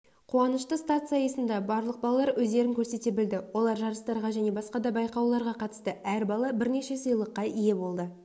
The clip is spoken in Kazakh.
қуанышты старт сайысында барлық балалар өздерін көрсете білді олар жарыстарға және басқа да байқауларға қатысты әр бала бірнеше сыйлыққа ие болды